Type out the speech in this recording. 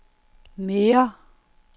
mere